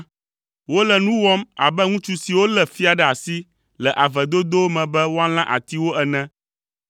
Wole nu wɔm abe ŋutsu siwo lé fia ɖe asi le ave dodowo me be woalã atiwo ene.